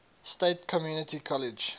state community college